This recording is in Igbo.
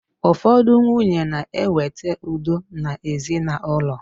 Ụfọdụ nwunye na ewete udo na ezinaụlọ.